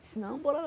Disse, não, bora lá.